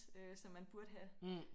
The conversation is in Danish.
Øh som man burde have